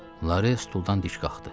Lare stuldan dik qalxdı.